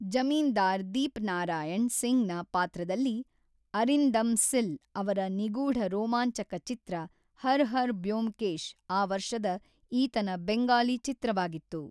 ಜಮೀನ್ದಾರ್ ದೀಪನಾರಾಯಣ್ ಸಿಂಗ್‌ನ ಪಾತ್ರದಲ್ಲಿ ಅರಿಂದಮ್ ಸಿಲ್ ಅವರ ನಿಗೂಢ ರೋಮಾಂಚಕ ಚಿತ್ರ ಹರ್ ಹರ್ ಬ್ಯೋಮಕೇಶ್ ಆ ವರ್ಷದ ಈತನ ಬೆಂಗಾಲಿ ಚಿತ್ರವಾಗಿತ್ತು.